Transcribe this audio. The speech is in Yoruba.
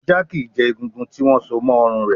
Ajá kì í jẹ egungun, tí wọ́n so mọ́ ọrùn rẹ̀.